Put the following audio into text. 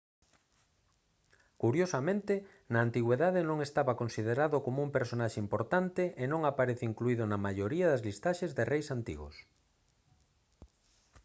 curiosamente na antigüidade non estaba considerado como un personaxe importante e non aparece incluído na maioría das listaxes de reis antigos